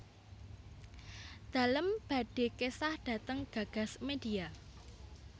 Dalem badhe kesah dhateng Gagas Media